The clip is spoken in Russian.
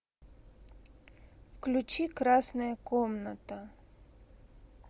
включи красная комната